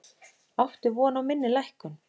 Átti von á minni lækkun